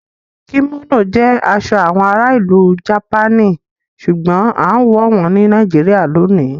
Kimono jẹ aṣọ awọn àrà ilú Japani ṣùgbọ̀n àǹwọ wọn ni Nàìjíríyà lónì